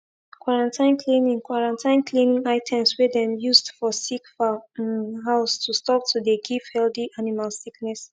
quarantine cleaning quarantine cleaning items wey dem used for sick fowl um house to stop to de give healthy animal sickness